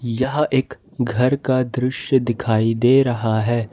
यह एक घर का दृश्य दिखाई दे रहा है।